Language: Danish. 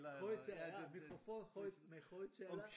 Højtaler ja mikrofon høj med højtaler